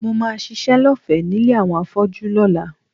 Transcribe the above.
Mo máa ṣiṣẹ́ lọ́fẹ̀ẹ́ nílé àwọn afọ́jú lọ́la